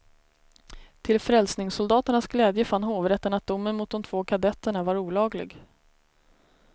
Till frälsningssoldaternas glädje fann hovrätten att domen mot de två kadetterna var olaglig.